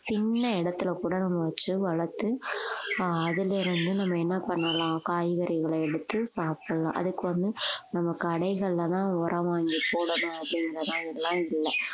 சின்ன இடத்துல கூட நம்ம வச்சு வளர்த்து ஆஹ் அதிலிருந்து நம்ம என்ன பண்ணலாம் காய்கறிகளை எடுத்து சாப்பிடலாம் அதுக்கு வந்து நம்ம கடைகள்லதான் உரம் வாங்கி போடணும் அப்படிங்கிற மாதிரிலாம் இல்லை